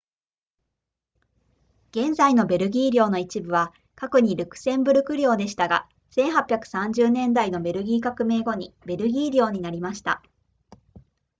現在のベルギー領の一部は過去にルクセンブルク領でしたが1830年代のベルギー革命後にベルギー領になりました